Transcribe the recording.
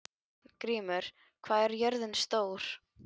Arngrímur, hvað er jörðin stór?